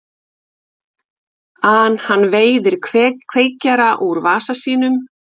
an hann veiðir kveikjara úr vasa sínum með lausu hendinni og kastar til mín.